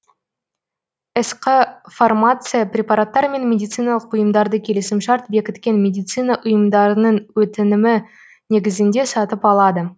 сқ фармация препараттар мен медициналық бұйымдарды келісімшарт бекіткен медицина ұйымдарының өтінімі негізінде сатып алады